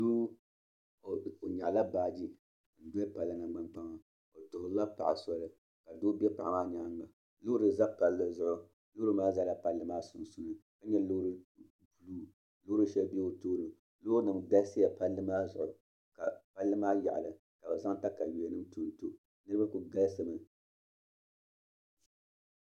doo o nyaɣila baaji n-doli palli nangbankpaŋa o tuhirila paɣa soli ka doo be paɣa maa nyaaŋga loori za palli zuɣu loori maa zala palli maa sunsuuni ka nyɛ loori buluu loori shɛli be o tooni loorinima galisiya palli maa zuɣu ka palli maa yaɣili ka bɛ zaŋ takayuanima tonto niriba kuli galisimi